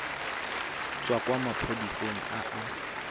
tswa kwa maphodiseng a a